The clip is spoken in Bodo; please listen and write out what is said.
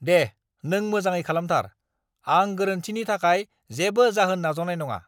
दे, नों मोजाङै खालामथार। आं गोरोन्थिनि थाखाय जेबो जाहोन नाजावनाय नङा।